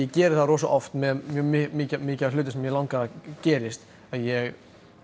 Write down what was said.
geri það rosa oft með mjög mikið mikið af hlutum sem mig langar að gerist ég